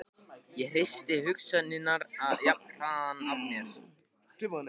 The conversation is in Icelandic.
Ég hristi hugsanirnar jafnharðan af mér.